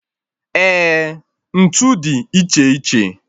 Eh, ntụ dị iche iche